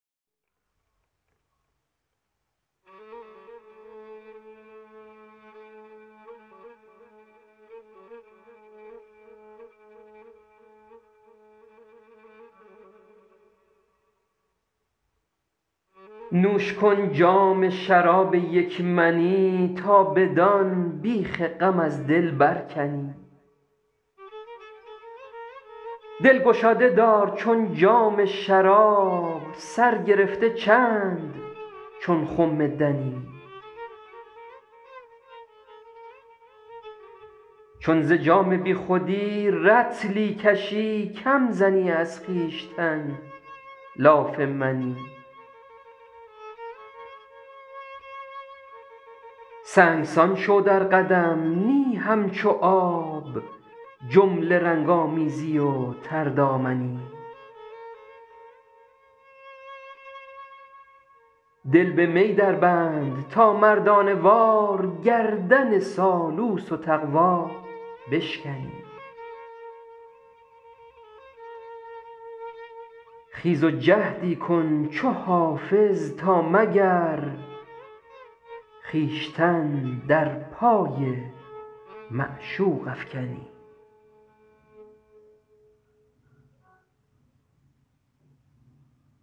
نوش کن جام شراب یک منی تا بدان بیخ غم از دل برکنی دل گشاده دار چون جام شراب سر گرفته چند چون خم دنی چون ز جام بی خودی رطلی کشی کم زنی از خویشتن لاف منی سنگسان شو در قدم نی همچو آب جمله رنگ آمیزی و تردامنی دل به می دربند تا مردانه وار گردن سالوس و تقوا بشکنی خیز و جهدی کن چو حافظ تا مگر خویشتن در پای معشوق افکنی